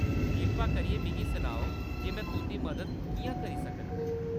कृपा करियै मिगी सनाओ जे में तुंʼदी मदद किʼयां करी सकनां।